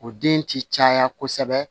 O den ti caya kosɛbɛ